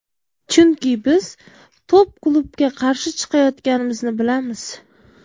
Chunki biz top klubga qarshi chiqayotganimizni bilamiz.